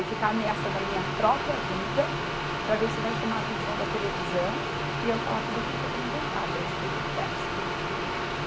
E ficar ameaçando a minha própria vida para ver se vai chamar a atenção da televisão e eu falar tudo aquilo que eu tenho vontade a respeito do Dersa.